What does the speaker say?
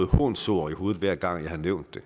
hånsord i hovedet hver gang jeg har nævnt det